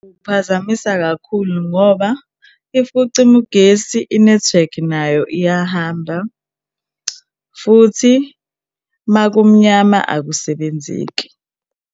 Kuphazamisa kakhulu ngoba if kucima ugesi i-network nayo iyahamba futhi uma kumnyama akusebenzeki.